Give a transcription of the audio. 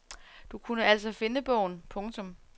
Du kunne altså finde bogen. punktum